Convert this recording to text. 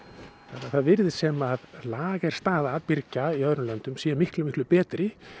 þannig að það virðist sem lagerstaða birgja í öðrum löndum sé miklu miklu betri